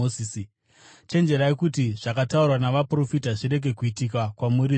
Chenjerai kuti zvakataurwa navaprofita zvirege kuitika kwamuri, zvinoti: